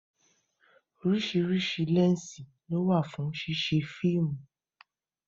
orísirísi lẹnsi ló wà fún ṣíṣe fíìmù